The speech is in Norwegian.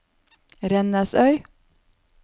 Rennesøy